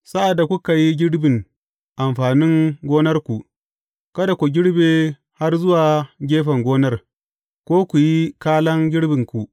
Sa’ad da kuka yi girbin amfanin gonarku, kada ku girbe har zuwa gefen gonar, ko ku yi kalan girbinku.